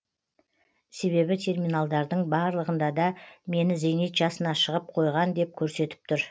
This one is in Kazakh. себебі терминалдардың барлығында да мені зейнет жасына шығып қойған деп көрсетіп тұр